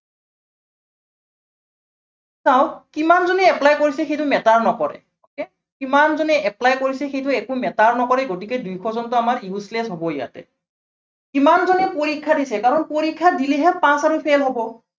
চাওক কিমানজনে apply কৰিছে সেইটো matter নকৰে okay কিমানজনে apply কৰিছে, সেইটো একো matter নকৰে, গতিকে দুইশজনটো আমাৰ useless হব ইয়াতে। কিমানজনে পৰীক্ষা দিছে, কাৰণ পৰীক্ষা দিলেহে pass আৰু fail হব।